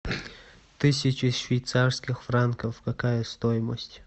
тысяча швейцарских франков какая стоимость